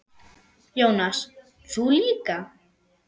Jónas: Þú líka?